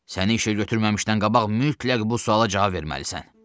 Səni işə götürməmişdən qabaq mütləq bu suala cavab verməlisən.